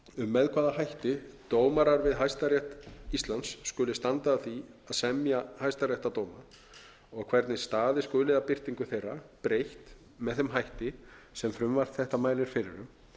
með hvaða hætti dómarar við hæstarétt íslands skulu standa að því að semja hæstaréttardóma og hvernig staðið skuli að birtingu þeirra breytt með þeim hætti sem frumvarp þetta mælir fyrir um